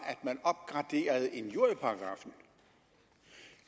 at injurieparagraffen